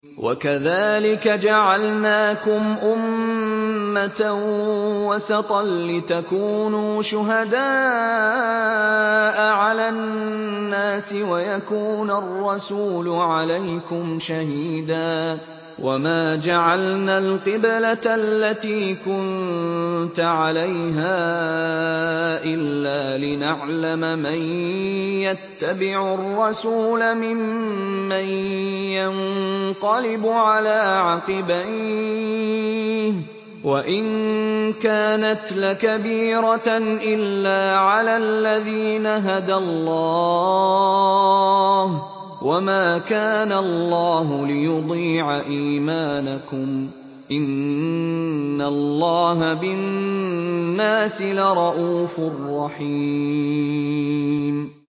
وَكَذَٰلِكَ جَعَلْنَاكُمْ أُمَّةً وَسَطًا لِّتَكُونُوا شُهَدَاءَ عَلَى النَّاسِ وَيَكُونَ الرَّسُولُ عَلَيْكُمْ شَهِيدًا ۗ وَمَا جَعَلْنَا الْقِبْلَةَ الَّتِي كُنتَ عَلَيْهَا إِلَّا لِنَعْلَمَ مَن يَتَّبِعُ الرَّسُولَ مِمَّن يَنقَلِبُ عَلَىٰ عَقِبَيْهِ ۚ وَإِن كَانَتْ لَكَبِيرَةً إِلَّا عَلَى الَّذِينَ هَدَى اللَّهُ ۗ وَمَا كَانَ اللَّهُ لِيُضِيعَ إِيمَانَكُمْ ۚ إِنَّ اللَّهَ بِالنَّاسِ لَرَءُوفٌ رَّحِيمٌ